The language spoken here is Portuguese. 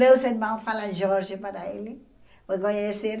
Meus irmãos falam Jorge para ele. Foi conhecer